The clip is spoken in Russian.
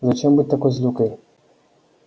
зачем быть такой злюкой